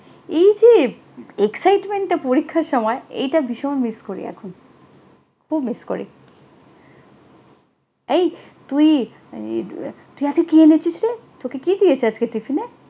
এই যে excitement টা পরীক্ষার সময়, এইটা ভীষণ miss করি এখনx। খুব miss করি। এই তুই তুই আজকে কি এনেছিসরে? তোকে কি দিয়েছে আজকে টিফিনে?